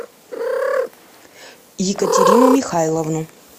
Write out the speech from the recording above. екатерину михайловну